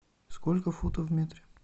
сколько футов в метре